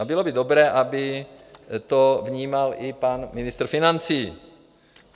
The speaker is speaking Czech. A bylo by dobré, aby to vnímal i pan ministr financí.